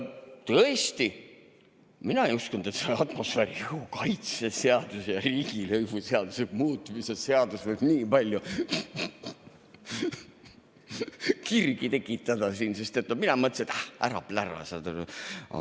Tõesti, mina ei uskunud, et see atmosfääriõhu kaitse seaduse ja riigilõivuseaduse muutmise seadus võib nii palju kirgi tekitada siin, sest mina mõtlesin, et ah, ära plära, saad aru.